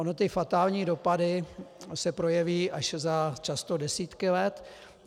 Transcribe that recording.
Ony ty fatální dopady se projeví až často za desítky let.